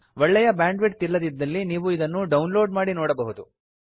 ಒಳ್ಳೆಯ bandwidth ಇಲ್ಲದಿದ್ದಲ್ಲಿ ನೀವು ಇದನ್ನು ಡೌನ್ ಲೋಡ್ ಮಾಡಿ ನೋಡಬಹುದು